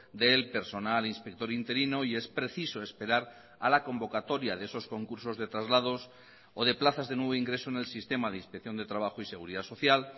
del personal inspector interino y es preciso esperar a la convocatoria de esos concursos de traslados o de plazas de nuevo ingreso en el sistema de inspección de trabajo y seguridad social